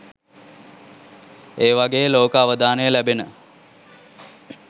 ඒවගේ ලෝක අවදානය ලැබෙන